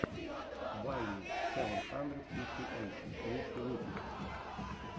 вайми сэвэн хандрэд фифти эйт лучший выпуск